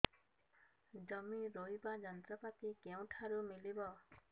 ଜମି ରୋଇବା ଯନ୍ତ୍ରପାତି କେଉଁଠାରୁ ମିଳିବ